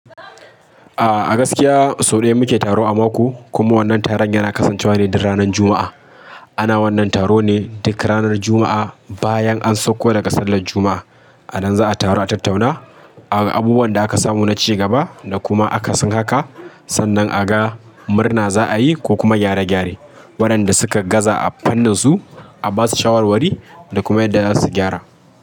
Ah a gaskiya sau ɗaya muke taro a mako kuma wannan taron yana kasancewa ne duk ranan Juma'a. Ana wannan taro ne duk ranar Juma'a bayan an sakko daga sallar Juma'a. A nan za'a taru a tattauna aga abubuwan da aka samu na cigaba da kuma akasin haka, sannan a ga murna za'a yi ko kuma gyare-gyare. Waɗanda suka gaza a fannin su a ba su shawarwari da kuma yadda za su gyara.